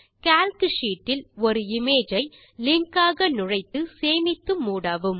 Calc sheet இல் ஒரு image ஐ லிங்க் ஆக நுழைத்து சேமித்து மூடவும்